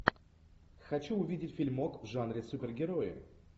хочу увидеть фильмок в жанре супергероев